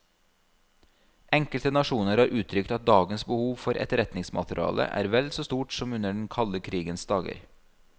Enkelte nasjoner har uttrykt at dagens behov for etterretningsmateriale er vel så stort som under den kalde krigens dager.